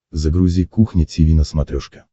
загрузи кухня тиви на смотрешке